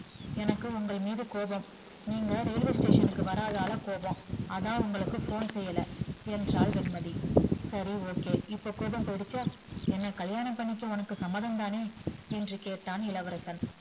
எனக்கு உங்கள் மீது கோவம் நீங்க railway station க்கு வராதால கோவம் அதா உங்களுக்கு phone செய்யல என்றால் வெண்மதி சரி okay இப்ப கோவம் போயிடுச்சா என்ன கல்லியாணம் பண்ணிக்க உனக்கு சம்மதம்தானே என்று கேட்டான்